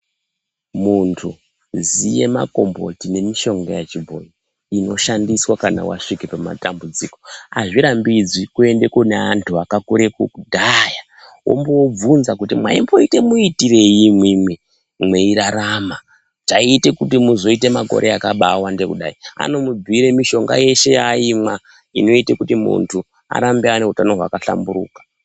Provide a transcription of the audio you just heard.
Muntu ziye makomboti nemushonga inoshandiswa kana wasvike pamatambudziko azvirambidzwi kuende kune antu akakure kudhaya womboobvunza kuti mwaite muitirei imwimwi mweirarama chaiye kuti muzoite makore akabaawande kudai anomubhuire mushonga yeshe yaaimwa inoite kuti muntu arambe aine utano hwakahlamburuka.